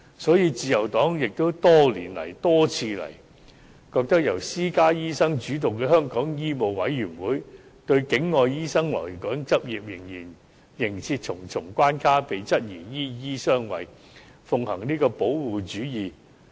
所以，自由黨多年來多番指出，由私家醫生主導的香港醫務委員會對境外醫生來港執業仍設重重關卡，這被質疑是"醫醫相衞"和奉行保護主義。